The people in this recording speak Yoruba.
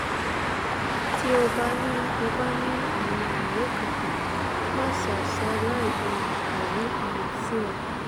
ti o ba ni o ba ni awon alaye kankan masa salai um kowe um siwa